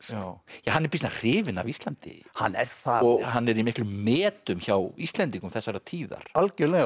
hann er býsna hrifinn af Íslandi hann er það hann er í miklum metum hjá Íslendingum þessarar tíðar algjörlega og